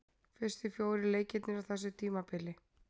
Fyrstu fjórir leikirnir á þessu tímabili.